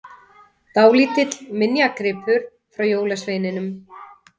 Dálítill minjagripur frá jólasveininum!